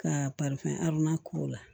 Ka k'o la